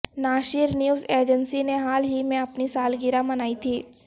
ناشر news agency نے حال ہی میں اپنی سالگرہ منائی تھی